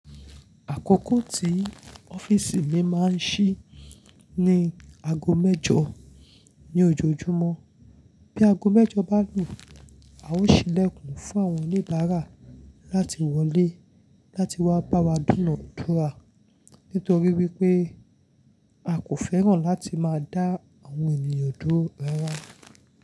Àkókò tí ọ́fìsì mi máa ń ṣí ní ago mẹ́jọ ní ojoojúmọ́. Bí ago mẹ́jọ bá lù, a ó ṣílẹ̀kùn fún àwọn oníbàárà láti wọlé láti wá bá wa dúnàdúrà nítorí wípé a kò fẹ́ràn láti máa dá àwọn ènìyàn duró rárá.